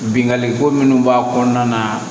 Binkani ko minnu b'a kɔnɔna na